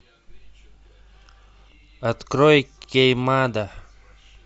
открой кеймада